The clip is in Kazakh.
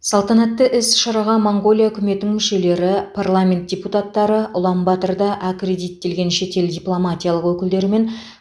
салтанатты іс шараға моңғолия үкіметінің мүшелері парламент депутаттары ұланбатырда аккредиттелген шетел дипломатиялық өкілдері мен